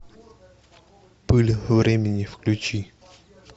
пыль времени включи